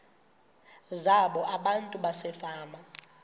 zabo abantu basefama